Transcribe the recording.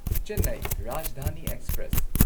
Chennai Rajdhani express